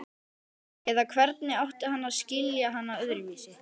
Eða hvernig átti hann að skilja hana öðruvísi?